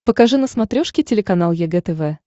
покажи на смотрешке телеканал егэ тв